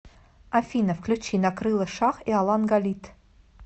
афина включи накрыло шах и алан галит